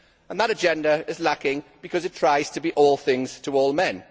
That agenda is lacking because it tries to be all things to all men.